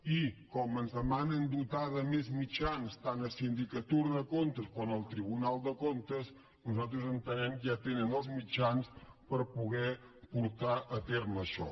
i com ens demanen dotar de més mitjans tant la sindicatura de comptes com el tribunal de comptes nosaltres entenem que ja tenen els mitjans per poder portar a terme això